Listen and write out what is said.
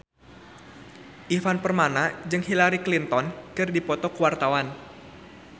Ivan Permana jeung Hillary Clinton keur dipoto ku wartawan